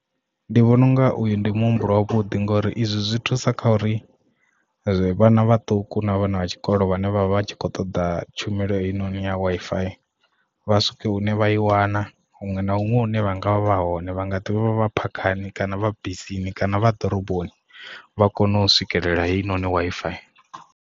Ndi vhona unga uyu ndi muhumbulo wa vhuḓi ngori izwi zwi thusa kha uri vhana vhaṱuku na vhana vha tshikolo vhane vha vha tshi kho ṱoḓa tshumelo heinoni ya Wi-Fi vha swike hune vha i wana huṅwe na huṅwe hune vhanga vha vha hone vha nga ḓivha vha phakhani kana vha bisini kana vha ḓoroboni vha kone u swikelela heinoni Wi-Fi.